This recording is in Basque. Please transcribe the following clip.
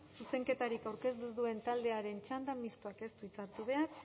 zuzenketarik aurkeztu ez duen taldearen txanda mistoak ez du hitza hartu behar